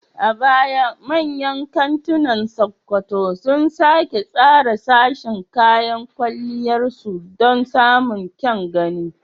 A baya, manyan kantunan Sokoto sun sake tsara sashin kayan kwalliyar su don samun kyan gani.